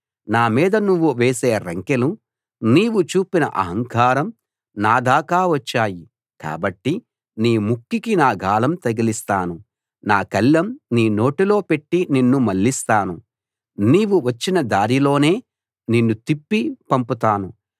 నా మీద నువ్వు వేసే రంకెలు నీవు చూపిన అహంకారం నా దాకా వచ్చాయి కాబట్టి నీ ముక్కుకి నా గాలం తగిలిస్తాను నా కళ్ళెం నీ నోటిలో పెట్టి నిన్ను మళ్లిస్తాను నీవు వచ్చిన దారిలోనే నిన్ను తిప్పి పంపుతాను